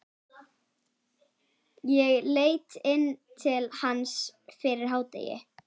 Ég leit inn til hans fyrir hádegi.